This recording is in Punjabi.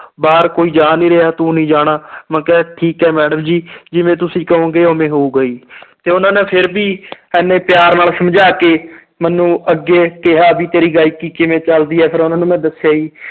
ਬਾਹਰ ਕੋਈ ਜਾ ਨੀ ਰਿਹਾ ਤੂੰ ਨੀ ਜਾਣਾ ਮੈਂ ਕਿਹਾ ਠੀਕ ਹੈ madam ਜੀ ਜਿਵੇਂ ਤੁਸੀਂ ਕਹੋਗੇ ਉਵੇਂ ਹੋਊਗਾ ਜੀ ਤੇ ਉਹਨਾਂ ਨੇ ਫਿਰ ਵੀ ਇੰਨੇ ਪਿਆਰ ਨਾਲ ਸਮਝਾ ਕੇ ਮੈਨੂੰ ਅੱਗੇ ਕਿਹਾ ਵੀ ਤੇਰੀ ਗਾਇਕੀ ਕਿਵੇਂ ਚੱਲਦੀ ਹੈ ਫਿਰ ਉਹਨਾਂ ਨੇ ਮੈਂ ਦੱਸਿਆ ਜੀ